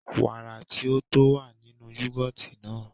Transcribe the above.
Wàrà tí ó tó wà nínú yoghurt naa